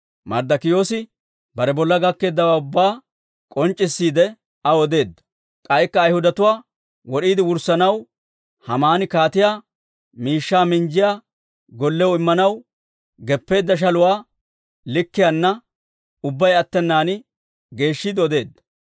Marddokiyoosi, bare bolla gakkeeddawaa ubbaa k'onc'c'issiide, aw odeedda. K'aykka Ayhudatuwaa wod'eedda wurssanaw Haamani kaatiyaa miishshaa minjjiyaa gollew immanaw geppeedda shaluwaa likkiyaana ubbay attenan geeshshiide odeedda.